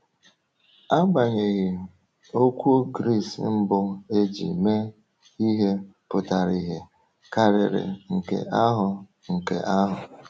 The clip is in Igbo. um Agbanyeghị, okwu Gris mbụ e ji mee um ihe pụtara ihe um karịrị nke ahụ. nke ahụ.